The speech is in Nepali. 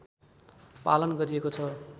पालन गरिएको छ